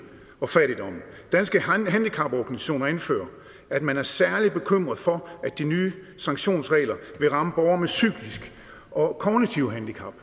og fattigdommen danske handicaporganisationer anfører at man er særlig bekymret for at de nye sanktionsregler vil ramme borgere med psykiske og kognitive handicap